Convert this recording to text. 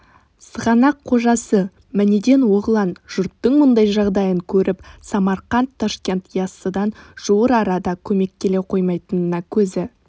сығанақ қожасы манеден-оғлан жұрттың мұндай жағдайын көріп самарқант ташкент яссыдан жуыр арада көмек келе қоймайтынына көзі